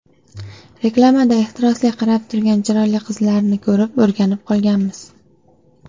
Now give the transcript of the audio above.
Reklamada ehtirosli qarab turgan chiroyli qizlarni ko‘rib o‘rganib qolganmiz.